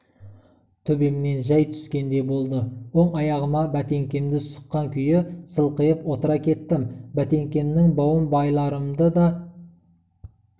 төбемнен жай түскендей болды оң аяғыма бәтеңкемді сұққан күйі сылқиып отыра кеттім бәтеңкемнің бауын байларымды да